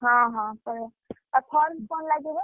ହଁ ହଁ, ପଳେଇଆ, ଆଉ form କଣ ଲାଗିବ?